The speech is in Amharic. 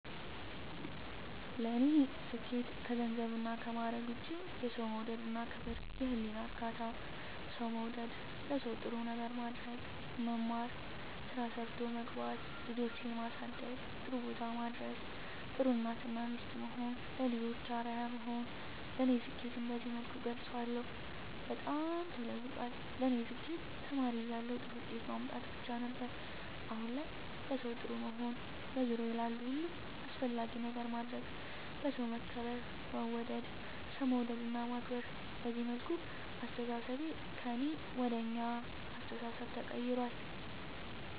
ለኔ ስኬት ከገንዘብና ከማረግ ውጭ፦ የሠው መውደድ እና ክብር፤ የህሊና እርካታ፤ ሠው መውደድ፤ ለሠው ጥሩ ነገር ማድረግ፤ መማር፤ ስራ ሠርቶ መግባት፤ ልጆቼን ማሠደግ ጥሩቦታ ማድረስ፤ ጥሩ እናት እና ሚስት መሆን፤ ለልጆቼ አርያ መሆን ለኔ ስኬትን በዚህ መልኩ እገልፀዋለሁ። በጣም ተለውጧል ለኔ ስኬት ተማሪ እያለሁ ጥሩ ውጤት ማምጣት ብቻ ነበር። አሁን ላይ ለሠው ጥሩ መሆን፤ በዙሪያዬ ላሉ ሁሉ አስፈላጊ ነገር ማድረግ፤ በሠው መከበር መወደድ፤ ሠው መውደድ እና ማክበር፤ በዚህ መልኩ አስተሣሠቤ ከእኔ ወደ አኛ አስተሣሠቤ ተቀይራል።